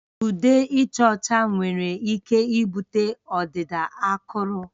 Ude ịcha ọcha nwere ike ibute ọdịda akụrụ